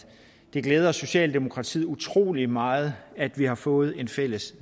det glæder socialdemokratiet utrolig meget at vi har fået et fælles